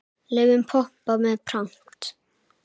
Laufin pompa með pragt.